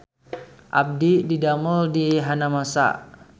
Abdi didamel di Hanamasa